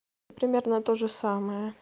примерно тоже самое